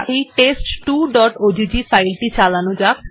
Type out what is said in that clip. TEST2অগ্গ্ফাইল টি চালানো যাক